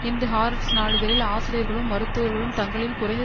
இன்று ஹாரெட்ஸ் நாளிதழில் ஆசிரியர்களும் மருத்துவர்களும் தங்களின் குறைந்த